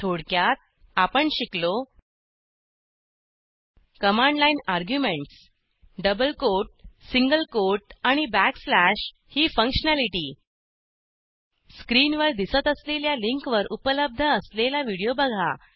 थोडक्यात आपण शिकलो command line arguments double quote single quote आणि बॅकस्लॅश ही फंक्शनॅलिटी स्क्रीनवर दिसत असलेल्या लिंकवर उपलब्ध असलेला व्हिडिओ बघा